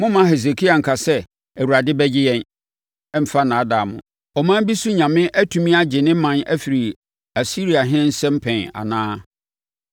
“Mommma Hesekia nka sɛ, ‘ Awurade bɛgye yɛn,’ mfa nnaadaa mo. Ɔman bi so nyame atumi agye ne ɔman afiri Asiriahene nsam pɛn anaa?